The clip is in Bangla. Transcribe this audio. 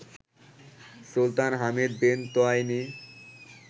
Sultan Hamid bin Thuwaini